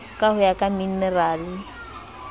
ka ho ya ka minerale